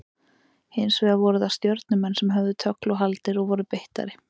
Hins vegar voru það Stjörnumenn sem höfðu tögl og haldir og voru beittari.